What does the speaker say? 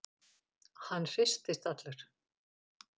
Hann hristist allur.